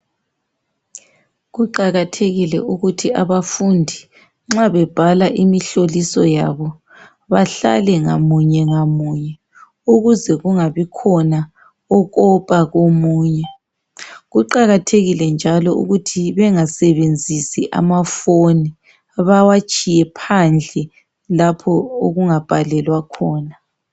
Kuqakathekile ukuthi abafundi nxa bebhala imihloliso yabo bahlale ngamunye ngamunye ukuze kungabikhona okopa komunye, kuqakathekile njalo ukuthi bengasebenzisi amaphone bewatshiye phandle lapho okungabhalelwa khona.